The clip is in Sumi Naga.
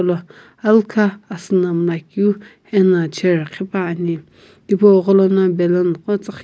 lo alkha asiina miilakeu ana chair ghipane tipogholono balloon tsiighi --